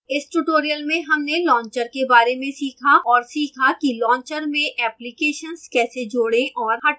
इस tutorial में हमने launcher के बारे में सीखा और सीखा कि launcher में एप्लिकेशन्स कैसे जोड़ें और हटाएं